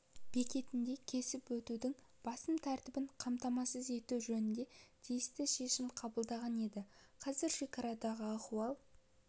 бекетінде кесіп өтудің басым тәртібін қамтамасыз ету жөнінде тиісті шешім қабылданған еді қазір шекарадағы ахуал